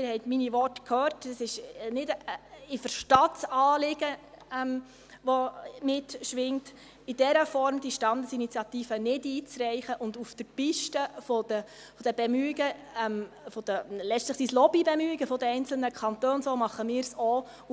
Sie haben meine Worte gehört, und ich verstehe das Anliegen, das mitschwingt –, die Standesinitiative in dieser Form nicht einzureichen und auf der Piste der Bemühungen – letztlich sind es Lobbybemühungen – der einzelnen Kantone auf